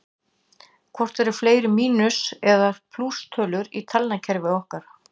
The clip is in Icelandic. Hvort eru fleiri mínus- eða plústölur í talnakerfi okkar?